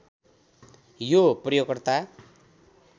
यो प्रयोगकर्ता